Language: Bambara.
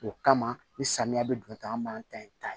O kama ni samiya bɛ don ta an b'an ta in ta yen